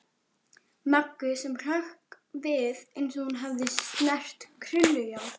Möggu sem hrökk við eins og hún hefði snert krullujárn.